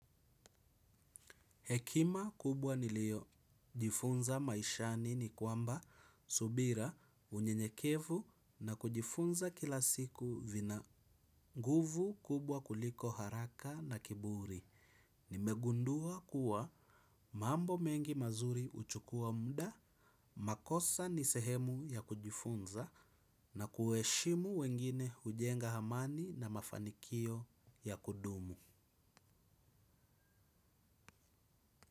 Hekima kubwa niliyojifunza maishani ni kwamba subira, unyenyekevu na kujifunza kila siku vina nguvu kubwa kuliko haraka na kiburi. Nimegundua kuwa mambo mengi mazuri huchukua muda, makosa ni sehemu ya kujifunza. Na kuwaheshimu wengine hujenga amani na mafanikio ya kudumu.